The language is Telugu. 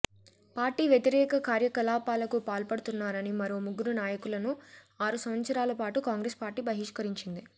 పార్టీ వ్యతిరేక కార్యకలాపాలకు పాల్పడుతున్నారని మరో ముగ్గురు నాయకులను ఆరు సంవత్సరాల పాటు కాంగ్రెస్ పార్టీ బహిష్కరించింది